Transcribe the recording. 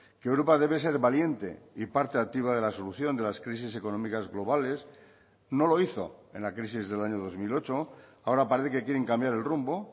que europa debe ser valiente y parte activa de la solución de las crisis económicas globales no lo hizo en la crisis del año dos mil ocho ahora parece que quieren cambiar el rumbo